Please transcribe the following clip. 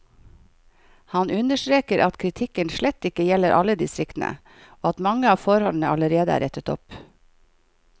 Han understreker at kritikken slett ikke gjelder alle distriktene, og at mange av forholdene allerede er rettet opp.